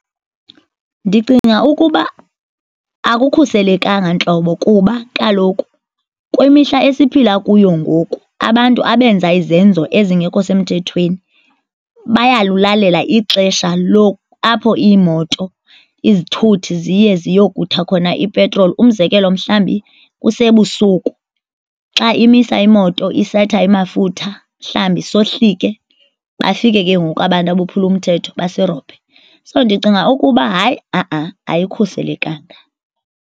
Ndicinga ukuba akukhuselekanga ntlobo kuba kaloku kwimihla esiphila kuyo ngoku abantu abenza izenzo ezingekho semthethweni bayalulalela ixesha apho iimoto izithuthi ziye ziyokutha khona ipetroli. Umzekelo, mhlawumbi kusebusuku. Xa imisa imoto isetha amafutha mhlawumbi sohlike, bafike ke ngoku abantu abophula umthetho basirobhe. So, ndicinga ukuba hayi a-a, ayikhuselekanga.